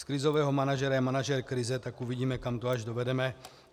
Z krizového manažera je manažer krize, tak uvidíme, kam to až dovedeme.